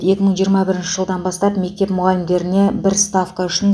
екі мың жиырма бірінші жылдан бастап мектеп мұғалімдеріне бір ставка үшін